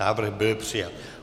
Návrh byl přijat.